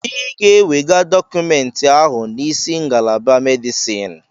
Ị ga-ewega dọkụmentị ahụ n'isi ngalaba Medisin!